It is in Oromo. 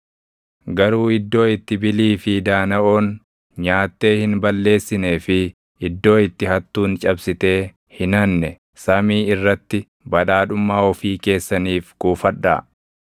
Garuu iddoo itti bilii fi daanaʼoon nyaattee hin balleessinee fi iddoo itti hattuun cabsitee hin hanne samii irratti badhaadhummaa ofii keessaniif kuufadhaa.